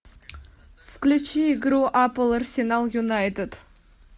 включи игру апл арсенал юнайтед